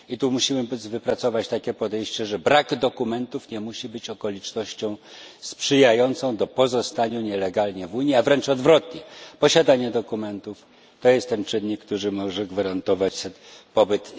Musimy wypracować podejście, zgodnie z którym brak dokumentów nie musi być okolicznością sprzyjającą pozostaniu nielegalnie w Unii, a wręcz odwrotnie, posiadanie dokumentów to jest ten czynnik, który może gwarantować pobyt.